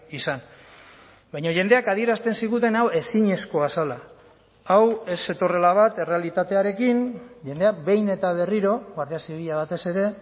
izan baina jendeak adierazten ziguten hau ezinezkoa zela hau ez zetorrela bat errealitatearekin jendea behin eta berriro guardia zibila batez ere